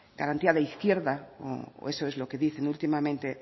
garantía de izquierda o eso es lo que dicen últimamente